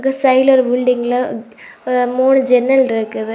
இந்த சைடுல ஒரு பில்டிங்ல எ மூணு ஜன்னல்ருக்குது.